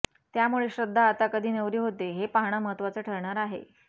त्यामुळे श्रद्धा आता कधी नवरी होते हे पाहणं महत्त्वाचं ठरणार आहे